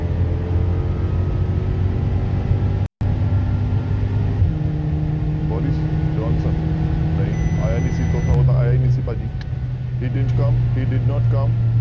Boris Johnson ਨਹੀਂ ਆਇਆ ਨੀ ਸੀ ਉਹ ਤਾਂ ਆਇਆ ਹੀ ਨੀ ਸੀ ਭਾਜੀ he didn't come, he did not come